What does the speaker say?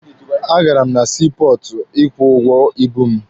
A gara m na sii pọọtụ ịkwụ ụgwọ ibu m.